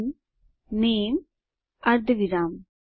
string નામે અર્ધવિરામ